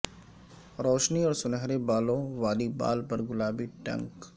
روشنی اور سنہرے بالوں والی بال پر گلابی ٹنک